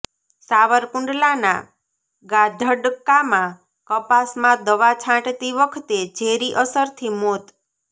સાવરકુંડલાના ગાધડકામાં કપાસમાં દવા છાંટતી વખતે ઝેરી અસરથી મોત